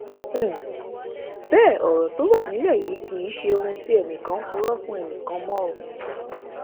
um bẹẹ ọrọ tó wà nílẹ yìí kì í ṣe ohun tí ẹnìkan ń purọ fún ẹnì kan mọ um